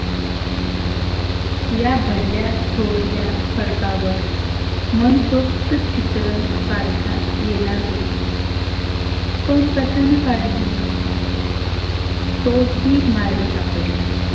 या भरल्या थोरल्या खडकावर मन सोक्त चित्र काढता येणार होती. पण कशानं काढनार? तो ही मार्ग सापडला.